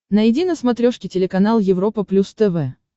найди на смотрешке телеканал европа плюс тв